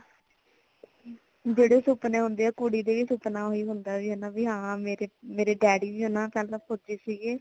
ਬੜੇ ਸੁਫ਼ਨੇ ਹੁੰਦੇ ਆ ਕੁੜੀ ਦਾ ਵੀ ਸੁਫਨਾ ਓਹੀ ਹੁੰਦਾ ਹੈ ਕਿ ਕਿ ਭੀ ਹਾਂ ਮੇਰੇ daddy ਵੀ ਓਨਾ ਸਾਲਾਂ ਪੋਚੇ ਸੀਗੇ